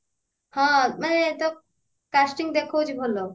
ହଁ ମାନେ ତା casting ଦେଖଉଛି ଭଲ